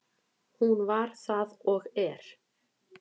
Hún var það og er.